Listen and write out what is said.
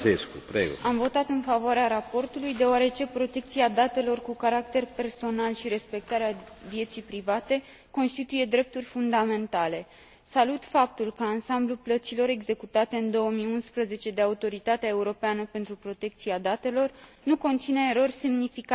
Am votat în favoarea raportului, deoarece protecția datelor cu caracter personal și respectarea vieții private constituie drepturi fundamentale. Salut faptul că ansamblul plăților executate în 2011 de Autoritatea Europeană pentru Protecția Datelor nu conține erori semnificative.